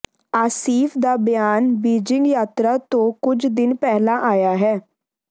ਆਸਿਫ ਦਾ ਬਿਆਨ ਬੀਜ਼ਿੰਗ ਯਾਤਰਾ ਤੋਂ ਕੁਝ ਦਿਨ ਪਹਿਲਾਂ ਆਇਆ ਹੈ